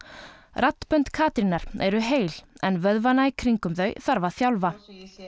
raddbönd Katrínar eru heil en vöðvana í kringum þau þarf að þjálfa